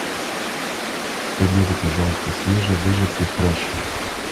к обеду пожалуйста свежевыжатый фреш